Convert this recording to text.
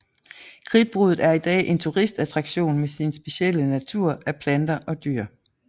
Kridtbruddet er i dag en turistattraktion med sin specielle natur af planter og dyr